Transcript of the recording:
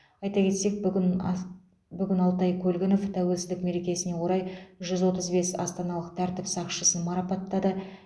айта кетсек бүгін ак алтай көлгінов тәуелсіздік мерекесіне орай жүз отыз бес астаналық тәртіп сақшысын марапаттады